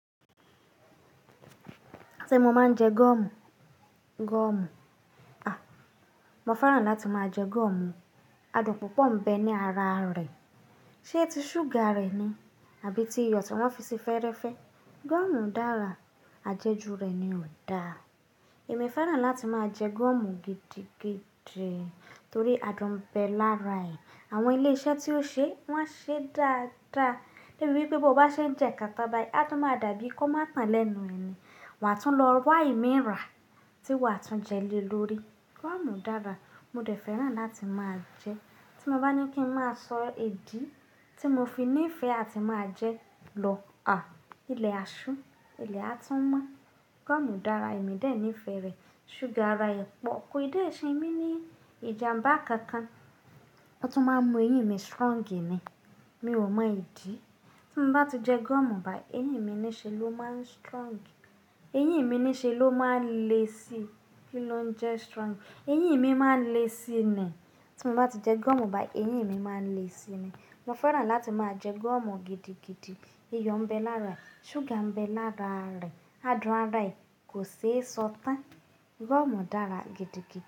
Ṣé mo máa ń jẹ gúọ́mù? Gúọ́mù. À! Mo fẹ́ràn láti máa jẹ gúọ́mù. Adùn púpọ̀ ń bẹ ní ara rẹ̀. Ṣé ti ṣúgà rẹ̀ ni? Àbí ti iyọ̀ tí wọ́n fi sí fẹ́rẹ́fẹ́? Gúọ́mù dára, àjẹjù rẹ̀ ni ò da. Èmi fẹ́ràn láti máa jẹ gúọ́mù gidigidi torí adùn ń bẹ lára ẹ̀. Àwọn ilé-iṣẹ́ tí ó ṣé, wọ́n ṣé dáa dáa. Lébi wípé bó bá ṣe ń jẹ kátá bayí, a tó máa dà bí kò má tan lẹ́nu ẹni. Wà á tún lọ wa ìmí ra tí wà á tún jẹ lé lórí. Gúọ́mù dára, mo dẹ̀ fẹ́ràn láti máa jẹ. Tí mo bá ní kí ń má a sọ idí tí mo fi nífẹ̀ẹ́ àti máa jẹ lọ. À! Ilẹ̀ a ṣú, ilẹ̀ a tún mọ́. Gúọ́mù dára, èmi dè níífé rẹ̀. Ṣúgà ara rẹ̀ pọ̀. Kò dé ṣe èmi ní ìjàmbá kankan. Ó tún má ń mú eyín mi strong ni. Mi ò mọ ìdí. Tí mo bá ti jẹ gúọ́mù bá, eyín mi ní ṣe ló má ń strong. Eyín mi ní ṣe ló má ń le sí. Kí ló ń jẹ strong? Eyín mi má ń le sí ni. Tí mo bá ti jẹ gúọ́mù bá, eyín mi má ń le sí ni. Mo fẹ́ràn láti máa jẹ gúọ́mù gidigidi. Iyọ̀ ń bẹ lára rẹ̀, ṣúgà ń bẹ lára rẹ̀, adùn ara ẹ̀ kò ṣe é sọ tán. Gúọ́mù dára gidigidi.